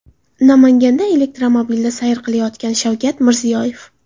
Namanganda elektromobilda sayr qilayotgan Shavkat Mirziyoyev.